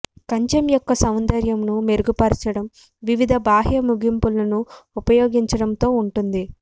కంచె యొక్క సౌందర్యంను మెరుగుపరచడం వివిధ బాహ్య ముగింపులను ఉపయోగించడంతో ఉంటుంది